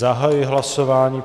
Zahajuji hlasování.